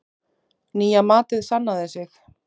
Nýja matið sannaði sig.